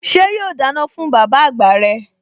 Ṣé yóò dáná fún bàbá àgbà rẹ̀?